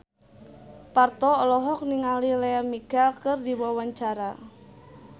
Parto olohok ningali Lea Michele keur diwawancara